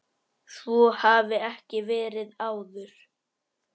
Svo hafi ekki verið áður.